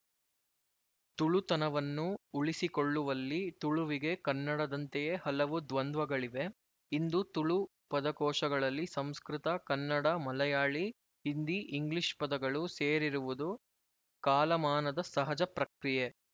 ತುಳು ತನವನ್ನು ಉಳಿಸಿಕೊಳ್ಳುವಲ್ಲಿ ತುಳುವಿಗೆ ಕನ್ನಡದಂತೆಯೇ ಹಲವು ದ್ವಂದ್ವಗಳಿವೆ ಇಂದು ತುಳು ಪದಕೋಶಗಳಲ್ಲಿ ಸಂಸ್ಕೃತ ಕನ್ನಡ ಮಲಯಾಳಿ ಹಿಂದಿ ಇಂಗ್ಲಿಶ್ ಪದಗಳು ಸೇರಿರುವುದು ಕಾಲಮಾನದ ಸಹಜ ಪ್ರಕ್ರಿಯೆ